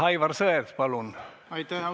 Aivar Sõerd, palun täiendav küsimus saalist!